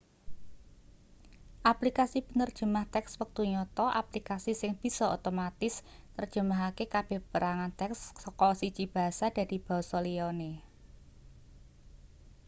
aplikasi penerjemah teks wektu nyata aplikasi sing bisa otomatis nerjemahake kabeh perangan teks saka siji bahasa dadi basa liyane